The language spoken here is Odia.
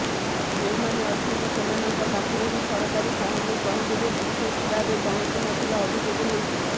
ଯେଉଁମାନେ ଅଛନ୍ତି ସେମାନଙ୍କ ପାଖରେ ବି ସରକାରୀ ସାହାଯ୍ୟ ସହଯୋଗ ଠିକ୍ ଭାବେ ପହଞ୍ଚୁନଥିବା ଅଭିଯୋଗ ହୋଇଛି